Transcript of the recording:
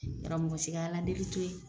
Yɔrɔ mɔgɔ si ala deli to yen.